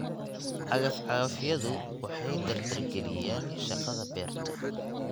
Cagaf-cagafyadu waxay dardargeliyaan shaqada beerta.